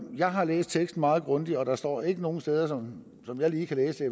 jeg har læst teksten meget grundigt og der står ikke nogen steder sådan som jeg i